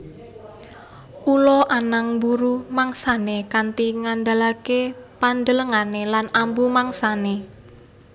Ula anang mburu mangsané kanti ngandalaké pandelengané lan ambu mangsané